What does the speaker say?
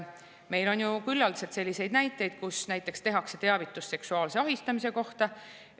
Meil on ju küllaldaselt selliseid näiteid, et tehakse teavitus seksuaalse ahistamise kohta.